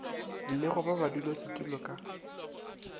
le go ba badulasetulo ka